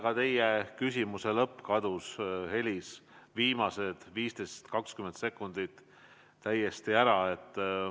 Ka teie küsimuse lõppu ei olnud kuulda, viimased 15–20 sekundit kadusid täiesti.